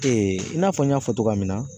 i n'a fɔ n y'a fɔ cogoya min na.